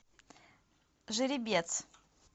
жеребец